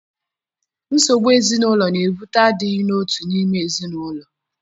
Nsogbu ezinụlọ na-ebute adịghị n'otu n'ime ezinụlọ.